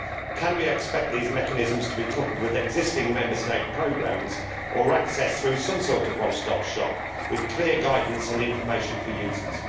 Can we expect these mechanisms to be coupled with existing Member State programmes, or to be accessible through some sort of one stop shop with clear guidance and information for users?